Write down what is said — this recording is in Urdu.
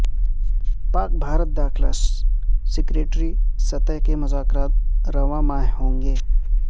پاک بھارت داخلہ سیکرٹری سطح کے مذاکرات رواں ماہ ہوں گے